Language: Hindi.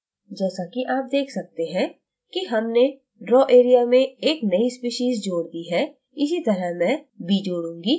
जैसाकि आप देख सकते हैं कि हमने draw area में एक नई स्पीशीज़ जोड़ दी है इसी तरह मैं b जोड़ूँगी